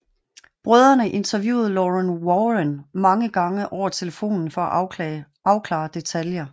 Brødrene interviewede Lorraine Warren mange gange over telefonen for at afklare detaljer